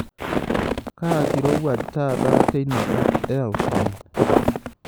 kaa kirowaj taata tinakop eaustin